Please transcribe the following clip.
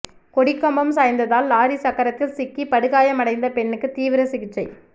கொடிக்கம்பம் சாய்ந்ததால் லாரி சக்கரத்தில் சிக்கி படுகாயம் அடைந்த பெண்ணுக்கு தீவிர சிகிச்சை